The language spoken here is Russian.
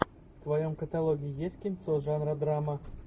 в твоем каталоге есть кинцо жанра драма